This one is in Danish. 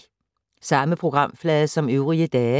Samme programflade som øvrige dage